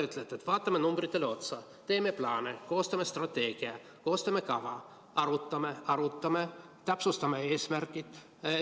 Ütlete, et vaatame numbritele otsa, teeme plaane, koostame strateegia, koostame kava, arvutame, arutame, täpsustame eesmärke.